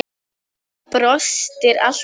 Brostir alltaf.